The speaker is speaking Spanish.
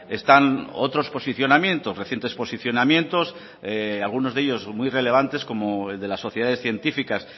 están otros posicionamientos recientes posicionamientos algunos de ellos muy relevantes como el de las sociedades científicas